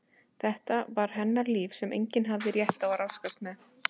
Þetta var hennar líf sem enginn hafði rétt á að ráðskast með.